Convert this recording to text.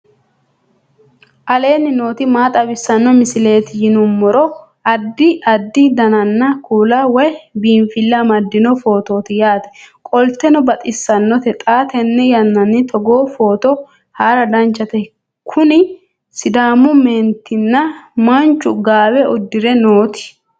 aleenni nooti maa xawisanno misileeti yinummoro addi addi dananna kuula woy biinfille amaddino footooti yaate qoltenno baxissannote xa tenne yannanni togoo footo haara danchate kuni sidaamu meentinna manchu gaawe uddire nooti